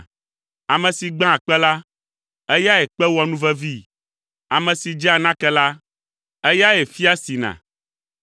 Ame si gbãa kpe la, eyae kpe wɔa nuvevii! Ame si dzea nake la, eyae fia sina!